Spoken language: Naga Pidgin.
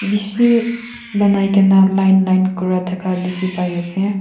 bishi banaikae na line line kurithaka dikhipaiase.